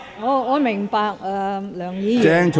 我明白梁議員......